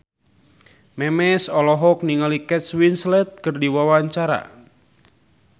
Memes olohok ningali Kate Winslet keur diwawancara